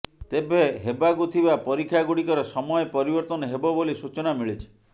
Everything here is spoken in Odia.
ତେବେ ହେବାକୁ ଥିବା ପରୀକ୍ଷାଗୁଡ଼ିକର ସମୟ ପରିବର୍ତ୍ତନ ହେବ ବୋଲି ସୂଚନା ମିଳିଛି